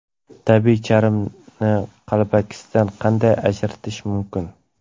Tabiiy charmni qalbakisidan qanday ajratish mumkin?.